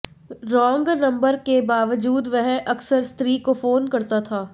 रोंग number के बावजूद वह अक्सर स्त्री को फ़ोन करता था